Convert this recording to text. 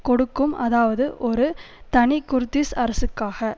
கொடுக்கும் அதாவது ஒரு தனி குர்திஷ் அரசுக்காக